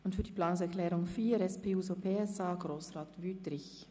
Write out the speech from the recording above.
Zur Planungserklärung 4 der SP-JUSO-PSAFraktion spricht Grossrat Wüthrich.